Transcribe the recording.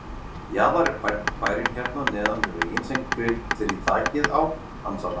Jaðar er bærinn hérna neðan við veginn sem grillir í þakið á, ansar hann.